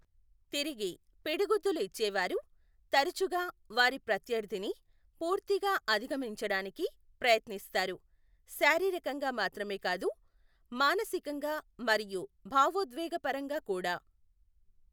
తిరిగి పిడిగుద్దులు ఇచ్చే వారు తరచుగా వారి ప్రత్యర్థిని పూర్తిగా అధిగమించడానికి ప్రయత్నిస్తారు, శారీరకంగా మాత్రమే కాదు, మానసికంగా మరియు భావోద్వేగపరంగా కూడా.